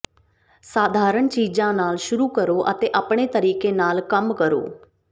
ਸਾਧਾਰਣ ਚੀਜ਼ਾਂ ਨਾਲ ਸ਼ੁਰੂ ਕਰੋ ਅਤੇ ਆਪਣੇ ਤਰੀਕੇ ਨਾਲ ਕੰਮ ਕਰੋ